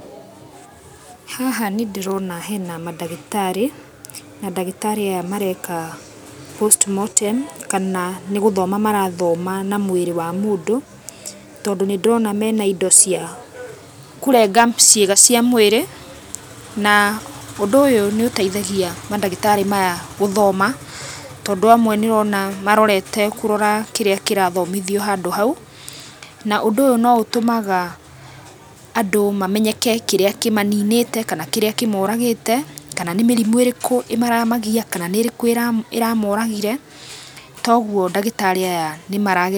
Haha nĩ ndĩrona hena mandagĩtarĩ, na ndagĩtarĩ aya mareka postmortem, kana nĩ gũthoma marathoma na mũĩrĩ wa mũndũ. Tondũ nĩ ndĩrona mena indo cĩa kũrenga ciĩga cia mũĩrĩ, na ũndũ ũyũ nĩ ũteithagia mandagĩtarĩ maya gũthoma. Tondũ amwe nĩ ũrona marorete kũrora, kĩrĩa kĩrathomithio handũ hau. Na ũndũ ũyũ no ũtũmaga andũ mamenyeke kĩríĩ kĩ manĩnĩte, kana kĩrĩa kĩ moragĩte, kana nĩ mĩrimũ ĩrĩkũ ĩramagia, kana nĩ ĩrĩkũ ĩramoragĩre. Togũo ndagĩtarĩ aya nĩ marageria.